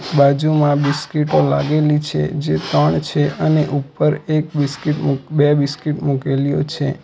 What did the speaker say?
બાજુમાં બિસ્કીટો લાગેલી છે જે તણ છે અને ઉપર એક બિસ્કીટ મૂક બે બિસ્કીટ મૂકેલીઓ છે.